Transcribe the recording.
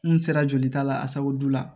N sera jolita la a sababu la